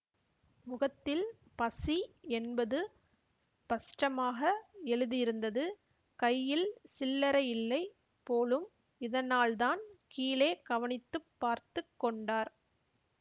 முகத்தில் பசி என்பது பஸ்டமாக எழுதியிருந்தது கையில் சில்லறையில்லை போலும் இதனால்தான் கீழே கவனித்து பார்த்து கொண்டார்